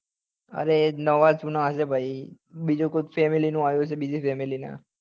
અરે એ જ નાવા જુના હશે ભાઈ બીજું કોણ ફેમીલી નું યુ હશે બીજી family નાં